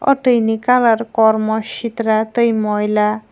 tui ni kalar kormo sitra tei moila.